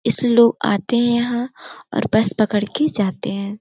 इस लोग आते हैं यहां और बस पकड़ के जाते हैं।